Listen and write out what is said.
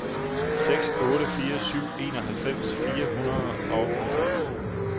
seks otte fire syv enoghalvfems fire hundrede og halvfems